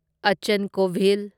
ꯑꯆꯟ Kovil